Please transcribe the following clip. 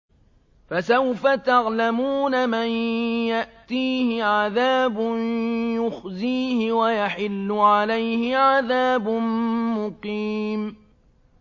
فَسَوْفَ تَعْلَمُونَ مَن يَأْتِيهِ عَذَابٌ يُخْزِيهِ وَيَحِلُّ عَلَيْهِ عَذَابٌ مُّقِيمٌ